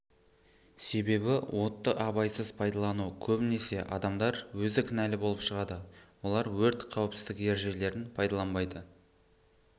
себебі отты абайсыз пайдалану көбінесе адамдар өзі кінәлі болып шығады олар өрт қауіпсіздік ережелерін пайдаланбайды